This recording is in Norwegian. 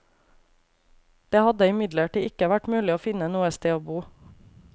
Det hadde imidlertid ikke vært mulig å finne noe sted å bo.